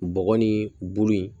Bɔgɔ ni bulu in